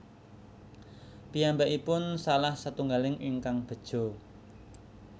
Piyambakipun salah satunggaling ingkang beja